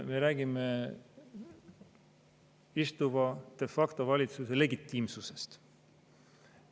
Me räägime de facto valitsuse legitiimsusest.